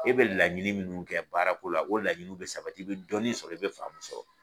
E bɛ laɲini minnu kɛ baarako la o laɲiniw bɛ sabati i bɛ dɔnni sɔrɔ i bɛ faamu sɔrɔ